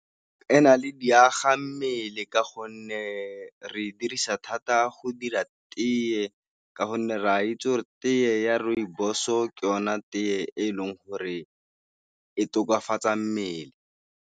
E na le diaga mmele ka gonne re dirisa thata go dira tee, ka gonne re a itse gore tee ya Rooibos-o ke yona tee e leng gore e tokafatsa mmele.